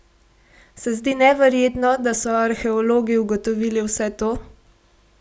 Se zdi neverjetno, da so arheologi ugotovili vse to?